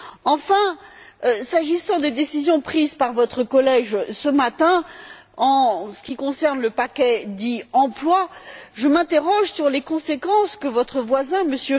Enfin, s'agissant des décisions prises par votre collège ce matin en ce qui concerne le paquet dit emploi, je m'interroge sur les conséquences que votre voisin, M.